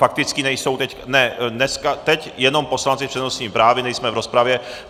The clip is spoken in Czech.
Faktické nejsou teď, ne, teď jenom poslanci s přednostním právem, nejsme v rozpravě.